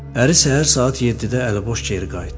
Əri səhər saat 7-də əliboş geri qayıtdı.